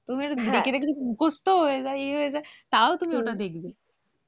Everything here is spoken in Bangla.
দেখে দেখে মুখস্ত হয়ে যায় ওই হয়ে যায় তাও তুমি ওটা দেখবে।